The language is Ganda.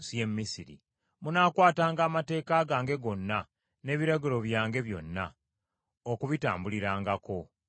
“Munaakwatanga amateeka gange gonna, n’ebiragiro byange byonna, okubitambulirangako. Nze Mukama .”